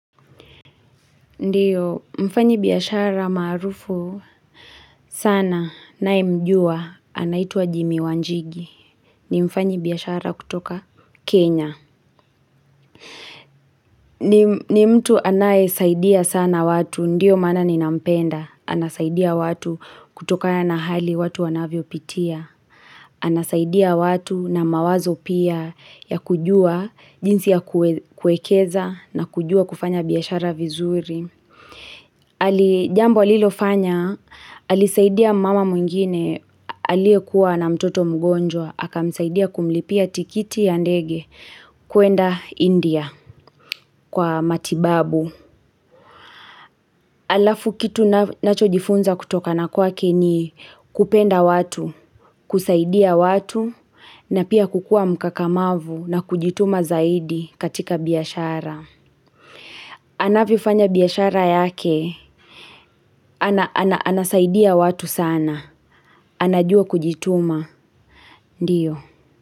Ndiyo mfanya biashara maarufu sana ninaye mjua anaituwa Jimmy Wanjigi ni mfanya biashara kutoka Kenya. Ni mtu anaye saidia sana watu, ndiyo maana ninampenda. Anasaidia watu kutokana na hali watu wanavyo pitia. Anasaidia watu na mawazo pia ya kujua jinsi ya kuwekeza na kujua kufanya biashara vizuri. Ali jambo alilo fanya, alisaidia mmama mwengine aliye kuwa ana mtoto mgonjwa, akamsaidia kumlipia tikiti ya ndege kuenda India kwa matibabu. Alafu kitu nunacho jifunza kutokana kwake ni kupenda watu, kusaidia watu na pia kukua mkakamavu na kujituma zaidi katika biashara. Anavyo fanya biashara yake anasaidia watu sana. Anajua kujituma, ndiyo.